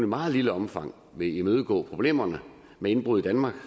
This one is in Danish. meget lille omfang vil imødegå problemerne med indbrud i danmark